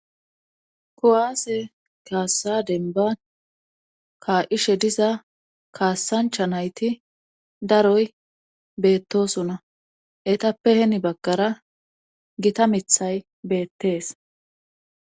Kuwaase kaassa denba ka7ishe diza kaassancha nayti daroy beettosuna etappe heni baggara gita mithay beettees